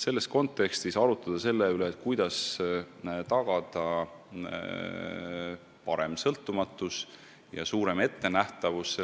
Selles kontekstis arutleda selle üle, kuidas tagada suurem sõltumatus ja parem ettenähtavus,